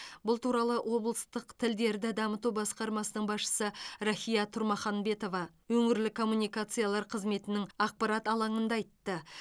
бұл туралы облыстық тілдерді дамыту басқармасының басшысы рахия тұрмаханбетова өңірлік коммуникациялар қызметінің ақпарат алаңында айтты